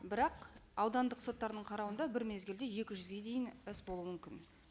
бірақ аудандық соттардың қарауында бір мезгілде екі жүзге дейін іс болу мүмкін